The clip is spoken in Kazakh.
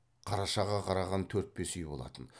қарашаға қараған төрт бес үй болатын